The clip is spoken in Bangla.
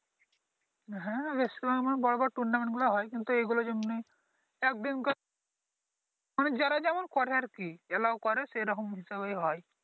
হ্যাঁ বেশ বড় বড় Tournament গুলো হয় কিন্তু এইগুলো যেমনি একদিন কার মানে যারা যেমন করে আর কি Allow করে সে রকম হিসেবেই হয়